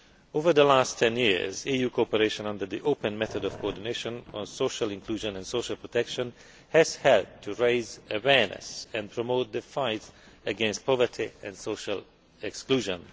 Over the last ten years, EU cooperation under the open method of coordination on social inclusion and social protection has helped to raise awareness and promote the fight against poverty and social exclusion.